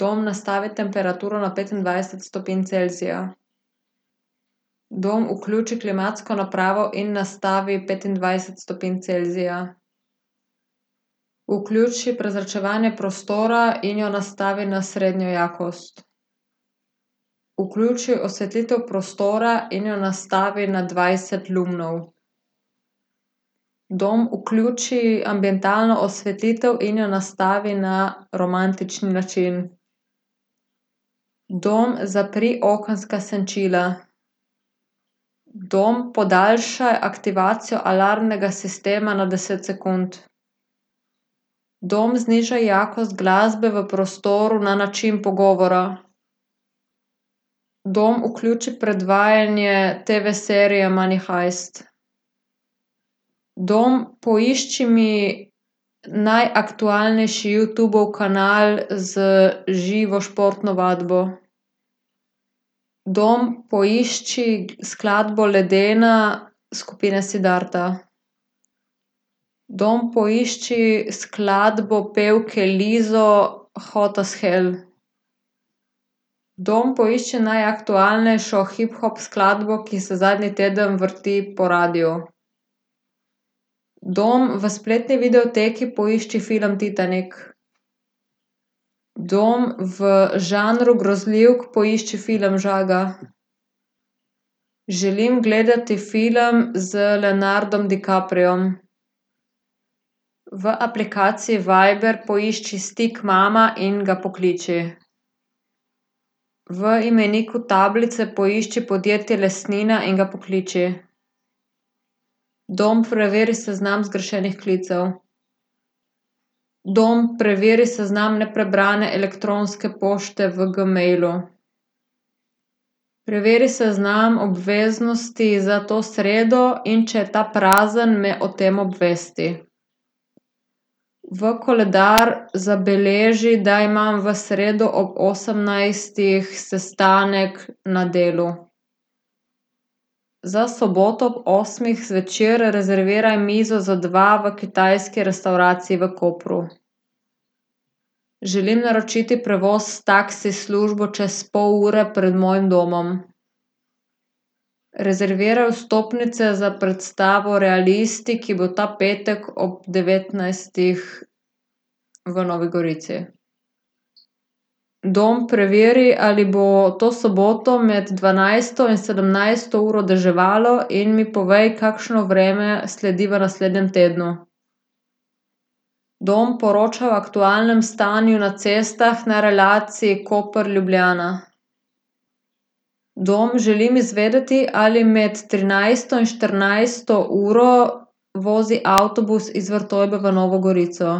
Dom, nastavi temperaturo na petindvajset stopinj Celzija. Dom, vključi klimatsko napravo in nastavi petindvajset stopinj Celzija. Vključi prezračevanje prostora in jo nastavi na srednjo jakost. Vključi osvetlitev prostora in jo nastavi na dvajset lumnov. Dom, vključi ambientalno osvetlitev in jo nastavi na romantični način. Dom, zapri okenska senčila. Dom, podaljšaj aktivacijo alarmnega sistema na deset sekund. Dom, znižaj jakost glasbe v prostoru na način pogovora. Dom, vključi predvajanje TV-serije Money heist. Dom, poišči mi najaktualnejši Youtubov kanal za živo športno vadbo. Dom, poišči skladbo Ledena skupine Siddharta. Dom, poišči skladbo pevke Lizzo Hot as hell. Dom, poišči najaktualnejšo hiphop skladbo, ki se zadnji teden vrti po radiu. Dom, v spletni videoteki poišči film Titanik. Dom, v žanru grozljivk poišči film Žaga. Želim gledati film z Leonardom DiCapriom. V aplikaciji Viber poišči stik Mama in ga pokliči. V imeniku tablice poišči podjetje Lesnina in ga pokliči. Dom, preveri seznam zgrešenih klicev. Dom, preveri seznam neprebrane elektronske pošte v Gmailu. Preveri seznam obveznosti za to sredo, in če je ta prazen, me o tem obvesti. V koledar zabeleži, da imam v sredo ob osemnajstih sestanek na delu. Za soboto ob osmih zvečer rezerviraj mizo za dva v kitajski restavraciji v Kopru. Želim naročiti prevoz s taksi službo čez pol ure pred mojim domom. Rezerviraj vstopnice za predstavo Realisti, ki bo ta petek ob devetnajstih v Novi Gorici. Dom, preveri, ali bo to soboto med dvanajsto in sedemnajsto uro deževalo in mi povej, kakšno vreme sledi v naslednjem tednu. Dom, poročaj o aktualnem stanju na cestah na relaciji Koper-Ljubljana. Dom, želim izvedeti, ali med trinajsto in štirinajsto uro vozi avtobus iz Vrtojbe v Novo Gorico.